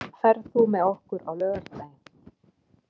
Marín, ferð þú með okkur á laugardaginn?